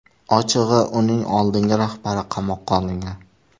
Ochig‘i, uning oldingi rahbari qamoqqa olingan.